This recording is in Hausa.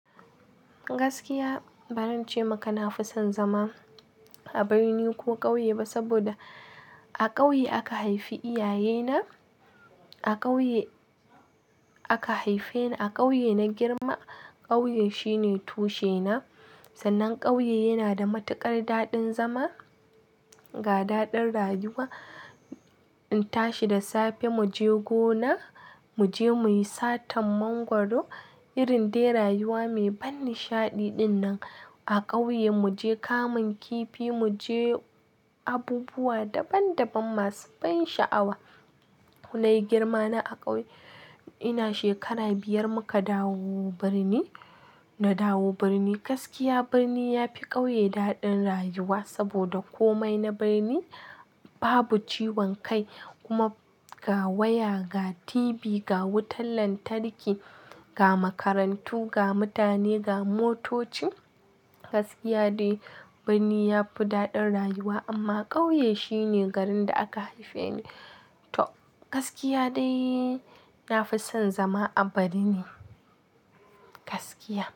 Gaskiya ba zan ce maka na fi son zama a birni ko ƙauye ba, saboda a ƙauye aka haifi iyaye na. A ƙauye aka haife ni, a ƙauye na girma. Ƙauye shine tushe na. Sannan ƙauye yana da matuƙar daɗin zama, ga daɗin rayuwa. In tashi da safe mu je gona, mu je mu yi satan mangwaro. Irin dai rayuwa mai ban nishaɗi dinnan. A ƙauye mu je kamun kifi, mu je abubuwa daban daban masu ban sha'awa. Na yi girma na a ƙauye. Ina shekara biyar muka dawo birni, na dawo birni. Gaskiya birni ya fi ƙauye daɗin rayuwa saboda komai na birni babu ciwon kai. Kuma ga waya, ga TV, ga wutar lantarki, ga makarantu, ga mutane, ga motoci. Gaskiya dai birni yafi daɗin rayuwa amma ƙauye shine garin da aka haife ni. To gaskiya dai na fi son zama a birni, gaskiya.